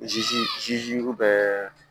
Ji bɛ